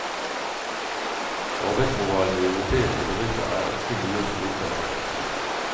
Arbeidsmoralen i europeiske bedrifter er ikke mye å skryte av.